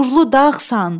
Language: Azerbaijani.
Nurlu dağsan.